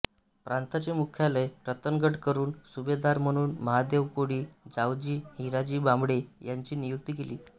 प्रांताचे मुखयालय रतनगड करून सुभेदार म्हणून महादेव कोळी जावजी हिराजी बांबळे यांची नियुक्ती केली